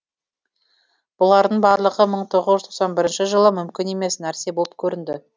бұлардың барлығы мың тоғыз жүз тоқсан бірінші жылы мүмкін емес нәрсе болып көрінді